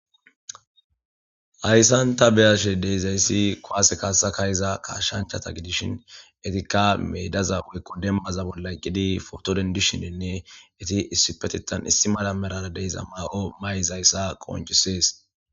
Hyssanta beyashe deezayssi koase kaasa kayyza kaashanchata gidishin etikka meedaza oykku demma zabon layqqidi fotodendishinenne eti issipetetan issi malamerara deeza maaqo mayizayssa qonchisees.